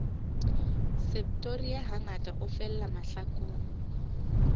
septoria hangata a fella mahlakung